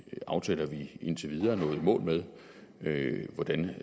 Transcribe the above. aftaler vi indtil videre er nået i mål med med og hvordan